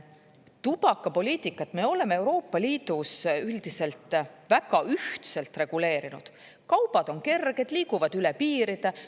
Tubakapoliitikat me oleme Euroopa Liidus üldiselt väga ühtselt reguleerinud: kaubad on kerged, liiguvad üle piiride.